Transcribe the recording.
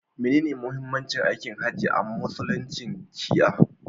Menene muhimmancin aikin hajji a musuluncin shi'a?